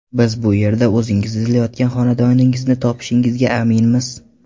Biz bu yerda o‘zingiz izlayotgan xonadoningizni topishingizga aminmiz.